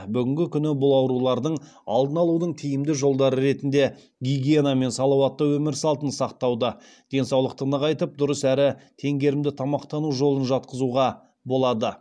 бүгінгі күні бұл аурулардың алдын алудың тиімді жолдары ретінде гигиена мен салауатты өмір салтын сақтауды денсаулықты нығайтып дұрыс әрі теңгерімді тамақтану жолын жатқызуға болады